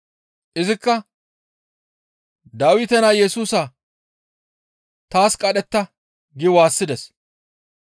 Izikka, «Dawite naa Yesusa taas qadhetta!» gi waassides.